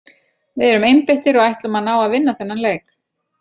Við erum einbeittir og ætlum að ná að vinna þennan leik.